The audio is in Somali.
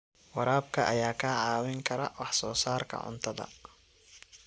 Waraabka ayaa kaa caawin kara wax soo saarka cuntada.